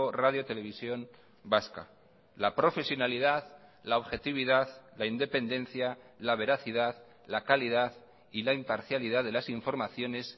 radio televisión vasca la profesionalidad la objetividad la independencia la veracidad la calidad y la imparcialidad de las informaciones